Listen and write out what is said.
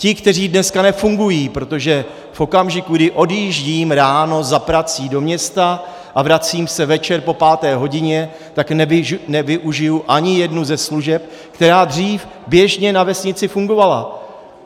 Ti, kteří dneska nefungují, protože v okamžiku, kdy odjíždím ráno za prací do města a vracím se večer po páté hodině, tak nevyužiji ani jednu ze služeb, která dřív běžně na vesnici fungovala.